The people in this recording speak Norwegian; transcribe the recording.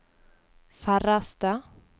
færreste